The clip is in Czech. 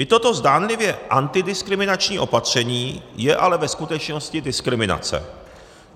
I toto zdánlivě antidiskriminační opatření je ale ve skutečnosti diskriminace.